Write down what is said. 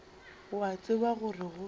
o a tseba gore go